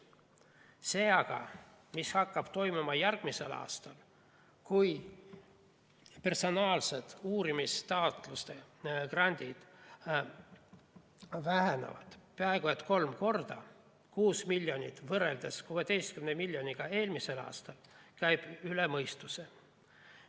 See aga, mis hakkab toimuma järgmisel aastal, kui personaalsed uurimisgrandid vähenevad peaaegu kolm korda – 6 miljonit võrreldes 16 miljoniga eelmisel aastal –, käib üle mõistuse.